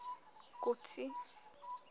kotsi